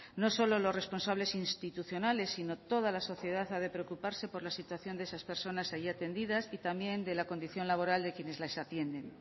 no solo los responsables institucionales sino toda la sociedad ha de preocuparse por la situación de esas personas allí atendidas y también de la condición laboral de quienes las atienden